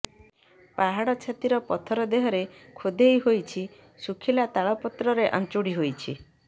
ପାହାଡ ଛାତିର ପଥର ଦେହରେ ଖୋଦେଇ ହୋଇଛି ଶୁଖିଲା ତାଳପତ୍ରରେ ଆଂଚୁଡି ହୋଇଛି